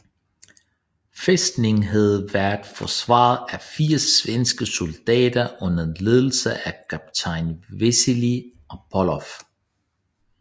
Fæstningen havde været forsvaret af 80 svenske soldater under ledelse af kaptajn Wasili Apolloff